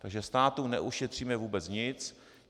Takže státu neušetříme vůbec nic.